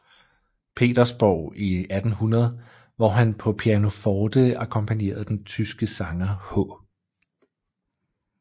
Petersborg i 1800 hvor han på pianoforte akkompagnerede den tyske sanger H